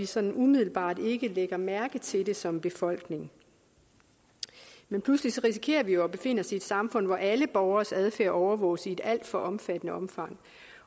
sådan umiddelbart lægger mærke til det som befolkning men pludselig risikerer vi jo at befinde os i et samfund hvor alle borgeres adfærd overvåges i et alt for omfattende omfang